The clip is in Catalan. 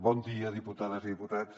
bon dia diputades i diputats